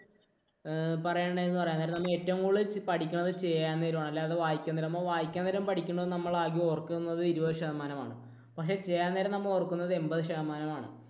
ഏഹ് പറയണത് എന്ന് പറയാൻ നേരം നമ്മൾ ഏറ്റവും കൂടുതൽ പഠിക്കുന്നത് ചെയ്യാൻ നേരം ആണ്. അല്ലാതെ വായിക്കാൻ നേരമോ, വായിക്കാൻ നേരം പഠിക്കുന്നത് നമ്മൾ ആകെ ഓർക്കുന്നത് ഇരുപത് ശതമാനമാണ്. പക്ഷെ ചെയ്യാൻ നേരം നമ്മൾ ഓർക്കുന്നത് എൺപത്ശതമാനം ആണ്.